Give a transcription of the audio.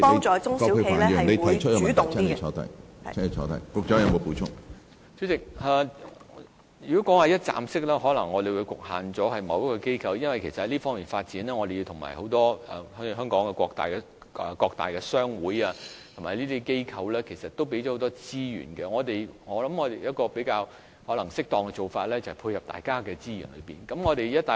主席，如果說一站式的服務平台，我們可能會局限了由某一個機構負責，因為在這方面，香港各大商會和很多機構都提供了很多資源。我認為一個比較適當的做法，就是配合各方的資源。